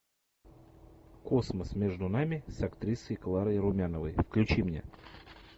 космос между нами с актрисой кларой румяновой включи мне